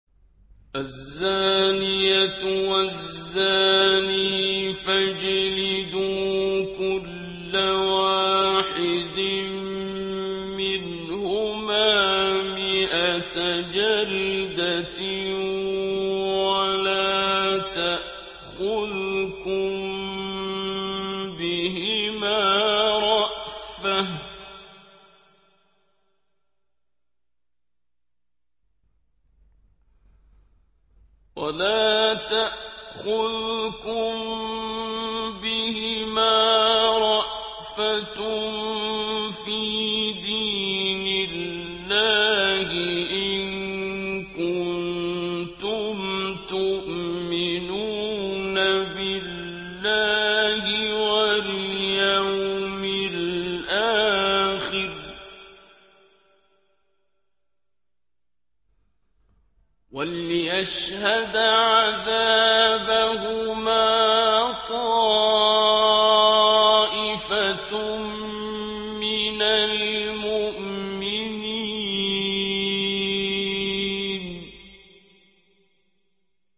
الزَّانِيَةُ وَالزَّانِي فَاجْلِدُوا كُلَّ وَاحِدٍ مِّنْهُمَا مِائَةَ جَلْدَةٍ ۖ وَلَا تَأْخُذْكُم بِهِمَا رَأْفَةٌ فِي دِينِ اللَّهِ إِن كُنتُمْ تُؤْمِنُونَ بِاللَّهِ وَالْيَوْمِ الْآخِرِ ۖ وَلْيَشْهَدْ عَذَابَهُمَا طَائِفَةٌ مِّنَ الْمُؤْمِنِينَ